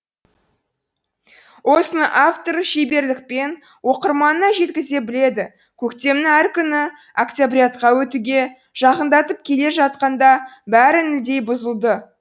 осыны автор шеберлікпен оқырманына жеткізе біледі көктемнің әр күні октябрятқа өтуге жақындатып келе жатқанда бәрі нілдей бұзылды